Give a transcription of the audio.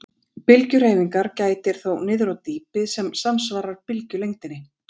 Bylgjuhreyfingar gætir þó niður á dýpi sem samsvarar bylgjulengdinni.